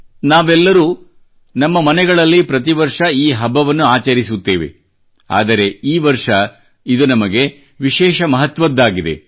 ನಾವೆಲ್ಲರೂ ನಮ್ಮ ಮನೆಗಳಲ್ಲಿ ಪ್ರತಿ ವರ್ಷ ಈ ಹಬ್ಬವನ್ನು ಆಚರಿಸುತ್ತೇವೆ ಆದರೆ ಈ ವರ್ಷ ಇದು ನಮಗೆ ವಿಶೇಷ ಮಹತ್ವದ್ದಾಗಿದೆ